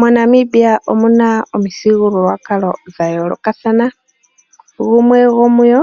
MoNamibia omuna omuthigululwakalo dha yoolokathana. Gumwe gomudho